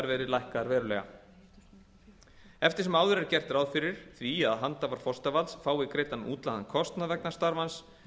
verði lækkaðar verulega eftir sem áður er gert ráð fyrir því að handhafar forsetavalds fái greiddan útlagðan kostnað vegna starfans